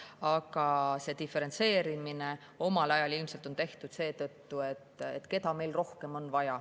Aga see diferentseerimine oli omal ajal ilmselt tehtud selle järgi, et keda meil on rohkem vaja.